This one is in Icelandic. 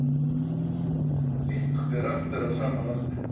Eitthvað ber aftur að sama landi